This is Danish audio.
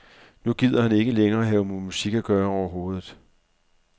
Nu gider han ikke længere have med musik at gøre overhovedet.